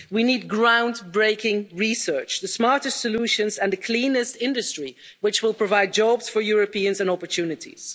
We need ground breaking research the smartest solutions and the cleanest industry which will provide jobs for Europeans and opportunities.